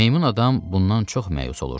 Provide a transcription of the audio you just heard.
Meymun adam bundan çox məyus olurdu.